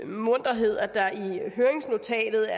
munterhed at der i høringsnotatet